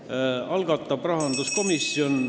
Selle algatab rahanduskomisjon.